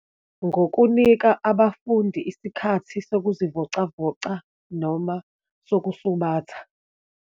Ngokunika abafundi isikhathi sokuzivocavoca noma sokusubatha.